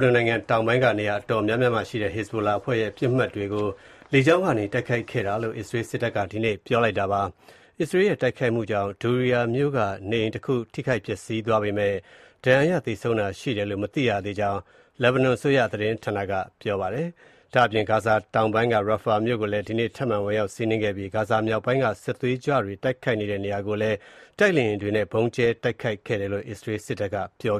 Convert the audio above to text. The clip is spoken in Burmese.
နွန်နိုင်ငံတောင်ပိုင်းက နေရာအတော်များများမှာရှိတဲ့ ဟဇ်ဘိုလာအဖွဲ့ရဲ့ ပစ်မှတ်တွေကို လေကြောင်းကနေ တိုက်ခိုက်ခဲ့တယ်လို့ အစ္စရေးစစ်တပ်က ဒီနေ့ ပြောလိုက်ပါတယ်။ အစ္စရေးရဲ့ တိုက်ခိုက်မှုတခုကြောင့် Doueir မြို့က နေအိမ်တခု ထိခိုက်ပျက်စီးသွားခဲ့ပေမယ့်၊ ဒဏ်ရာရ သေဆုံးတာရှိတယ်လို့ မသိရသေးကြောင့် လက်ဘနွန်အစိုးရသတင်းဌာနက ပြောပါတယ်။ ဒါ့အပြင် ဂါဇာဒေသတောင်ပိုင်းက Rafah မြို့ကိုလည်း ဒီနေ့မှာ ထပ်မံဝင်ရောက်စီးနင်းခဲ့ပြီး၊ ဂါဇာမြောက်ပိုင်းက စစ်သွေးကြွတွေ တိုက်ခိုက်နေတဲ့နေရာကိုလည်း တိုက်လေယာဉ်တွေနဲ့ ဗုံံးကြဲတိုက်ခိုက်ခဲ့တယိလု့ အစ္စရေးစစ်တပ်က ပြော